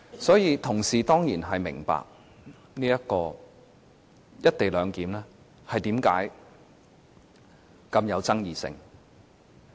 所以，同事當然會明白為何"一地兩檢"如此富爭議性。